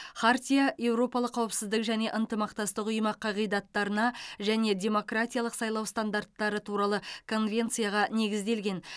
хартия еуропалық қауіпсіздік және ынтымақтастық ұйымы қағидаттарына және демократиялық сайлау стандарттары туралы конвенцияға негізделген